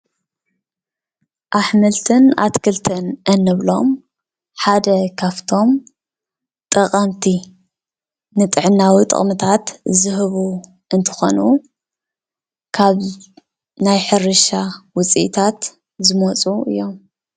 ኣሕምልትን ኣትክልትን እንብሎም ሓደ ካፍቶም ጠቀምቲ ንጥዕናዊ ጥቅምታት ዝህቡ እንትኾኑ ካብ ናይ ሕርሻ ውፅኢታት ዝመፁ እዮም።